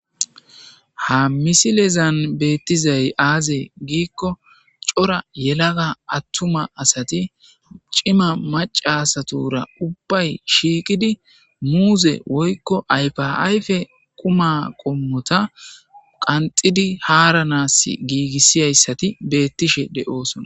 ha misilezan beettizay aaze giikko cora yelaga attuma asati cima macasatura ubbay shiiqidi muuze woykko aya ayfe quma qommota qanxidi haaranaas giigissiyayssati beettishe de'oosona